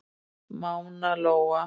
Mána Lóa.